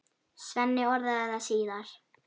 Svenni orðaði það síðar.